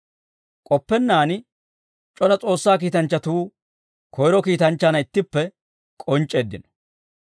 K'oppennaan c'ora S'oossaa kiitanchchatuu koyro kiitanchchaanna ittippe k'onc'c'eeddino.